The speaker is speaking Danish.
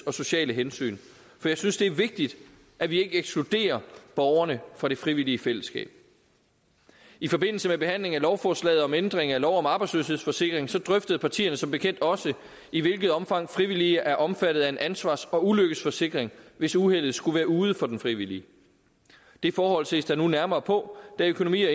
og sociale hensyn for jeg synes det er vigtigt at vi ikke ekskluderer borgerne fra det frivillige fællesskab i forbindelse med behandlingen af lovforslaget om ændring af lov om arbejdsløshedsforsikring drøftede partierne som bekendt også i hvilket omfang frivillige er omfattet af en ansvars og ulykkesforsikring hvis uheldet skulle være ude for den frivillige det forhold ses der nu nærmere på da økonomi og